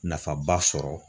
Nafaba sɔrɔ